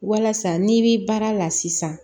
Walasa n'i bi baara la sisan